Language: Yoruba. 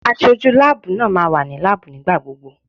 Aṣojú láàbù náà máa wà ní láàbù nígbà gbogbo.